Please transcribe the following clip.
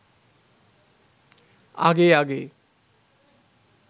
আগে আগে